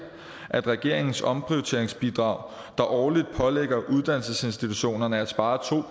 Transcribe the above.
at regeringens omprioriteringsbidrag der årligt pålægger uddannelsesinstitutionerne at spare to